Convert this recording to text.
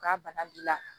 K'a bana b'i la